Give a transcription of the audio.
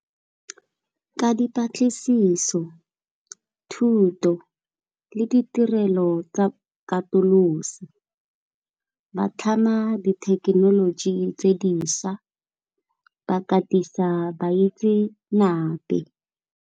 Ka dipatlisiso thuto le ditirelo tsa katoloso ba tlhama dithekenoloji tse di šwa ba katisa baitsanape.